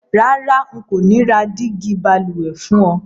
Rárá, n kò ni ra dígí balùwè fún o